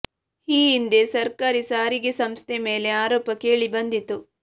ಈ ಹಿಂದೆ ಸರ್ಕಾರಿ ಸಾರಿಗೆ ಸಂಸ್ಥೆ ಮೇಲೆ ಆರೋಪ ಕೇಳಿ ಬಂದಿತ್ತು